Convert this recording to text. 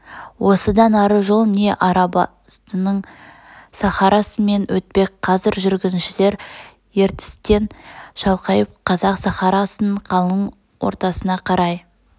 осыдан ары жол не арабстанның сахарасымен өтпек қазір жүргіншілер ертістен шалқайып қазақ сахарасының қалың ортасына қарай